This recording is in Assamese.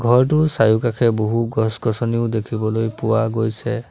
ঘৰটোৰ চাৰিওকাষে বহু গছ গোছনিও দেখিবলৈ পোৱা গৈছে।